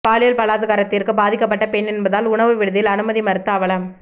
பாலியல் பலாத்காரத்திற்கு பாதிக்கப்பட்ட பெண் என்பதால் உணவு விடுதியில் அனுமதி மறுத்த அவலம்